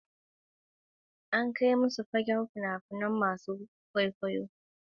An kai masu son fina-finan kirari zuwa wurare masu ban mamaki da ke cike da kyawawan dabbobi.